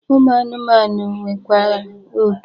Ụmụ anụmanụ nwekwara oke.